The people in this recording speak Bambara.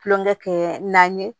Kulonkɛ kɛ naani ye